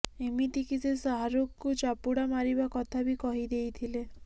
ଏମିତି କି ସେ ଶାହାରୁଖ୍ଙ୍କୁ ଚାପୁଡ଼ା ମାରିବା କଥା ବି କହିଦେଇଥିଲେ